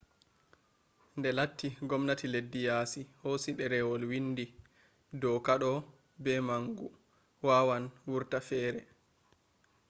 de latti gomnati leddi yaasi hosi derwol windi doka ɗo be mangu wawan wurta fere